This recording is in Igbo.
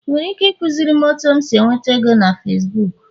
ị nwere ike ịkụziri m otu esi enweta ego na Facibuku?